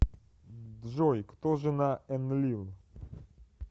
джой кто жена энлил